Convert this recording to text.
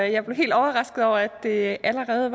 jeg blev helt overrasket over at det allerede